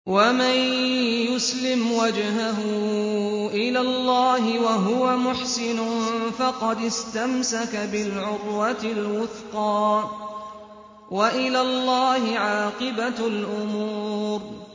۞ وَمَن يُسْلِمْ وَجْهَهُ إِلَى اللَّهِ وَهُوَ مُحْسِنٌ فَقَدِ اسْتَمْسَكَ بِالْعُرْوَةِ الْوُثْقَىٰ ۗ وَإِلَى اللَّهِ عَاقِبَةُ الْأُمُورِ